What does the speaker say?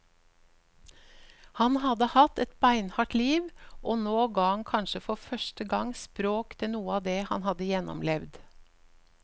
Han hadde hatt et beinhardt liv, og nå ga han kanskje for første gang språk til noe av det han hadde gjennomlevd.